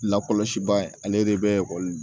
Lakɔlɔsi ba ye ale de bɛ